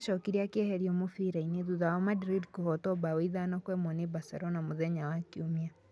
Nĩ acokire akĩeherio mũbira-inĩ thutha wa Madrid kũhootwo 5-1 nĩ Barcelona mũthenya wa Kiumia.